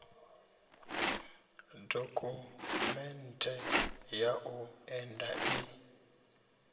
dokhumenthe ya u enda i